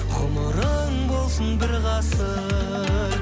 ғұмырың болсын бір ғасыр